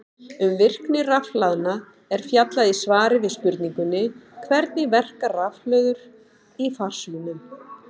Um virkni rafhlaðna er fjallað í svari við spurningunni Hvernig verka rafhlöður í farsímum?